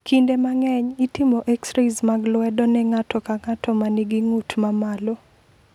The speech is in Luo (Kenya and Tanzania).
Kinde mang’eny, itimo x rays mag lwedo ne ng’ato ka ng’ato ma nigi ng’ut ma malo.